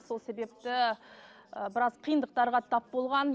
сол себепті і біраз қиындықтарға тап болған